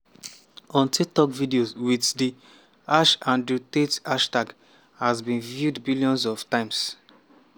on tiktok videos with the #andrewtate hashtag have been viewed billions of times.